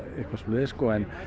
eitthvað svoleiðis en